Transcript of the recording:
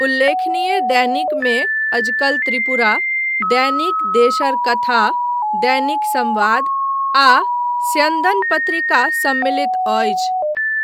उल्लेखनीय दैनिकमे अजकल त्रिपुरा, दैनिक देशर कथा, दैनिक संबाद आ स्यन्दन पत्रिका सम्मिलित अछि।